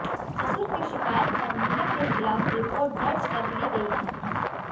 ससुर की शिकायत पर महिला के खिलाफ रिपोर्ट दर्जकर ली गई है